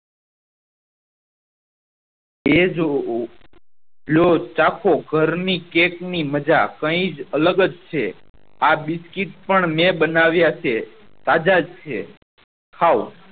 એજ લો ચાખો ઘરની ને કેક ની મજા કાયિજ અલગ જ આ બિસ્કીટ અન મેં બનાવ્યા છે તાજા છે ખાવ